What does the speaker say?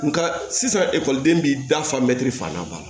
Nga sisan ekɔliden b'i da fan mɛri fan da b'a la